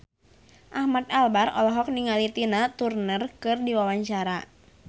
Ahmad Albar olohok ningali Tina Turner keur diwawancara